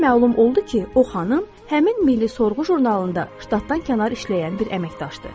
Belə məlum oldu ki, o xanım həmin Milli Sorğu jurnalında ştatdan kənar işləyən bir əməkdaşdır.